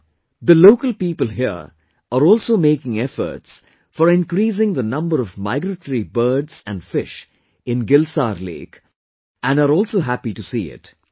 Now the local people here are also taking efforts for increasing the number of migratory birds and fish in "Gil Saar Lake" and are also happy to see it